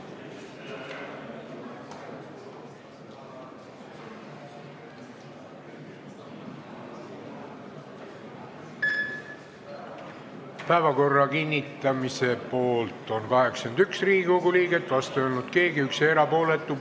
Hääletustulemused Päevakorra kinnitamise poolt on 81 Riigikogu liiget, vastu ei ole keegi, erapooletuid on 1.